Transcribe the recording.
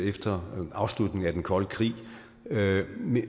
efter afslutningen af den kolde krig men